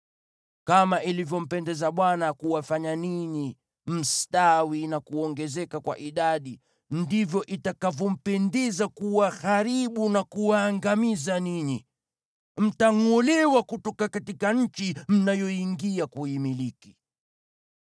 Kama ilivyompendeza Bwana kuwafanya ninyi mstawi na kuongezeka kwa idadi, ndivyo itakavyompendeza kuwaharibu na kuwaangamiza ninyi. Mtangʼolewa kutoka nchi mnayoiingia kuimiliki.